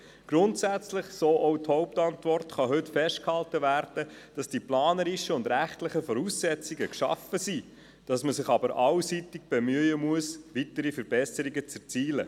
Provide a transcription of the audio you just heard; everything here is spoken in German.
Grundsätzlich, so die Antwort, seien die planerischen und rechtlichen Voraussetzungen geschaffen worden, allerdings müsse man sich allseits bemühen, weitere Verbesserungen zu erzielen.